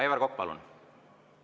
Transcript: Aivar Kokk, palun!